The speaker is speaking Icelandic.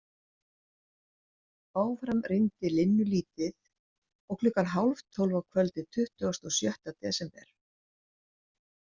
Áfram rigndi linnulítið og klukkan hálf tólf að kvöldi tuttugasta og sjötta desember.